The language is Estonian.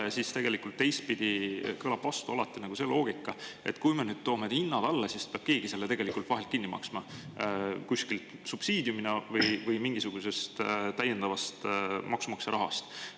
Ja siis tegelikult teistpidi kõlab vastu alati nagu see loogika, et kui me nüüd toome hinnad alla, siis peab keegi selle tegelikult vahelt kinni maksma, kuskilt subsiidiumina või mingisugusest täiendavast maksumaksja rahast.